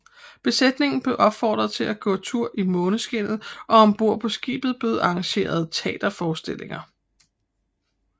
Besætningen blev opfordret til at gå tur i måneskinnet og ombord på skibet blev arrangeret teaterforestillinger